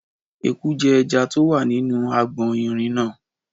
Eku jẹ ẹja tí ó wà nínú agbọ̀n irin náà.